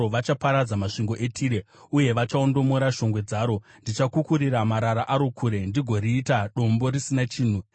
Vachaparadza masvingo eTire uye vachaondomora shongwe dzaro; ndichakukurira marara aro kure ndigoriita dombo risina chinhu.